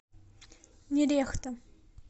нерехта